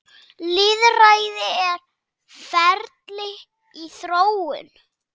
Lýðræði er ferli í þróun.